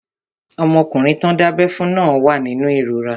Ọmọkùnrin tán dábẹ́ fún náà wà nínú ìrora